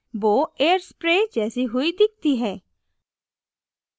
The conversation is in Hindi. bow bow air sprayed जैसी हुई दिखती है